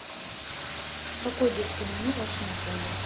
какое детское меню в вашем отеле